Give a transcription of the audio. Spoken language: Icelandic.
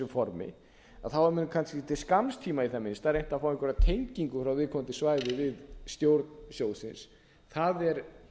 formi þá hafa menn kannski til skamms tíma í það minnsta reynt að fá einhverja tengingu frá viðkomandi svæði við stjórn sjóðsins það er